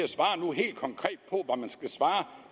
at man skal svare